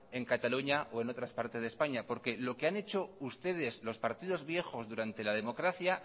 en cataluña o en otras partes de españa porque lo que han hecho ustedes los partidos viejos durante la democracia